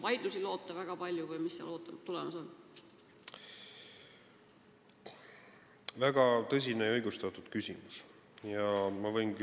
Kas on oodata väga palju vaidlusi või mis seal tulemas on?